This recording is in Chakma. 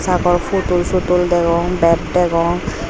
pakol putul sutul bek degong.